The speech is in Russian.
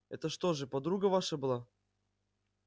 это что же подруга ваша была